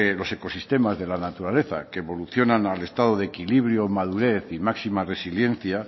los ecosistemas de la naturaleza que evolucionan al estado de equilibrio madurez y máxima resiliencia